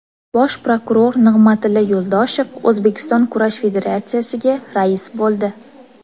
Bosh prokuror Nig‘matilla Yo‘ldoshev O‘zbekiston kurash federatsiyasiga rais bo‘ldi.